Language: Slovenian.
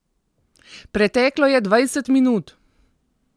Preteklo je dvajset minut!